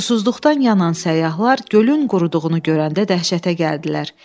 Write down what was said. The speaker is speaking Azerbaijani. Susuzluqdan yanan səyyahlar gölün quruduğunu görəndə dəhşətə gəldilər.